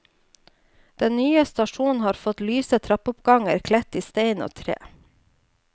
Den nye stasjonen har fått lyse trappeoppganger kledt i stein og tre.